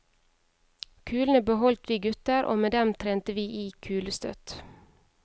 Kulene beholdt vi gutter og med dem trente vi i kulestøt.